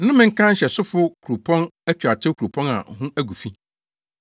Nnome nka nhyɛsofo kuropɔn atuatew kuropɔn a ho agu fi!